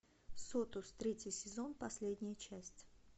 сотус третий сезон последняя часть